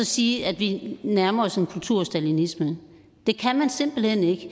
sige at vi nærmer os en kulturstalinisme det kan man simpelt hen ikke